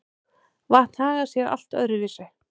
Vatn hagar sé allt öðru vísi.